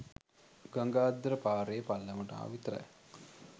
ගඟ අද්දර පාරේ පල්ලමට ආවා විතරයි